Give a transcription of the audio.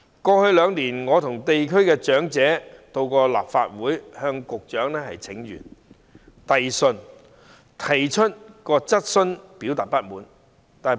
過去兩年，我和地區的長者到過立法會向局長請願和遞信，我亦提出質詢表達不滿。